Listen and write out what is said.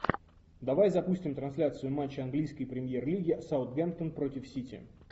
давай запустим трансляцию матча английской премьер лиги саутгемптон против сити